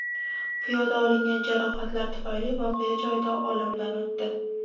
Piyoda olingan jarohatlar tufayli voqea joyida olamdan o‘tdi.